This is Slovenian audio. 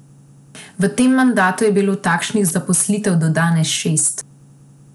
V tem mandatu je bilo takšnih zaposlitev do danes šest.